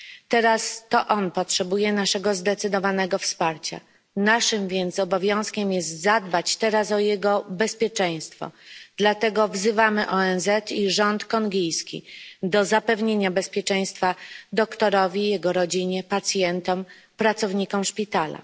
Teraz to on potrzebuje naszego zdecydowanego wsparcia. Naszym więc obowiązkiem jest zadbać teraz o jego bezpieczeństwo, dlatego wzywamy ONZ i rząd kongijski do zapewnienia bezpieczeństwa doktorowi, jego rodzinie, pacjentom, pracownikom szpitala.